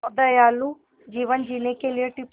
दयालु जीवन जीने के लिए टिप्स